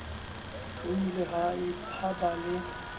ho ile ha ba le